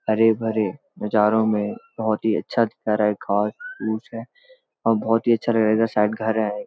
हरे-भरे नजारों में बहोत ही अच्‍छा दिखा रहा है घास-पूस है और बहोत ही अच्‍छा लगेगा शायद घर है।